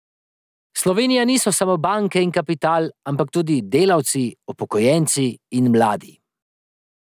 Slovenija niso samo banke in kapital, ampak tudi delavci, upokojenci in mladi.